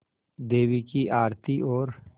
देवी की आरती और